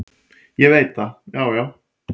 """Ég veit það, já, já."""